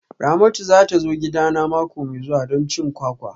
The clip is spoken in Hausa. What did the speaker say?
Ramatu za ta zo gidana mako mai zuwa don cin kwakwa